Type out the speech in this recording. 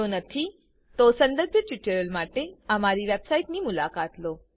જો નથી સંદર્ભિત ટ્યુટોરીયલો માટે અમારી વેબસાઈટની મુલાકાત લો